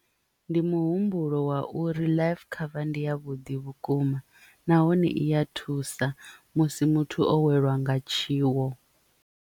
Ndi muhumbulo wa uri life cover ndi ya vhuḓi vhukuma nahone i ya thusa musi muthu o welwa nga tshiwo.